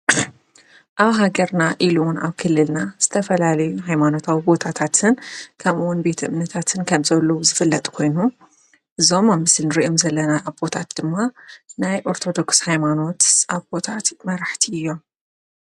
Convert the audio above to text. ኣብ ሃገርና ኢሉ እውን ኣብ ክልልና ዝተፈላለዩ ሃይማናታዊ ቦታታትን ከምኡ እውን ቤት እምነታትን ከም ዘለዉ ዝፍለጥ ኾይኑ እዞም ኣብ ምስሊ እንሪኦም ዘለና ኣቦታት ድማ ናይ ኦርተዶክስ ሃይማኖት ኣቦታት መራሕቲ እዮም፡፡